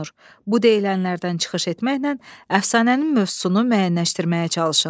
Bu deyilənlərdən çıxış etməklə əfsanənin mövzusunu müəyyənləşməyə çalışın.